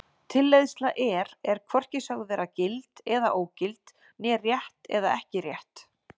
Tilleiðsla er er hvorki sögð vera gild eða ógild né rétt eða ekki rétt.